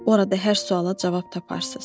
Orada hər suala cavab taparsız.